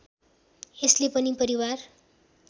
यसले पनि परिवार